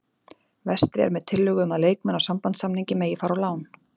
Vestri er með tillögu um að leikmenn á sambandssamningi megi fara á lán